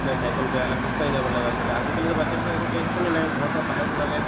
cycle বেয়া হ'লে খোজকাঢ়ি যাব লগা হৈছিলে আজিকালিতো batches বিলাকৰ একো tension য়ে নাই ঘৰৰ পৰা বাহিৰত ওলালে